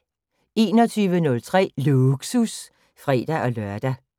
21:03: Lågsus (fre-lør)